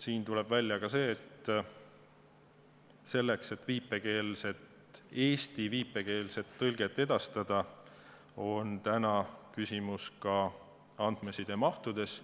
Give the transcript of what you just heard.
Siin tuleb välja see, et selleks, et eesti viipekeelset tõlget edastada, on küsimus ka andmesidemahtudes,